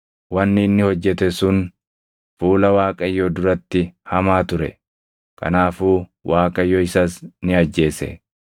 Wanni inni hojjete sun fuula Waaqayyoo duratti hamaa ture; kanaafuu Waaqayyo isas ni ajjeese.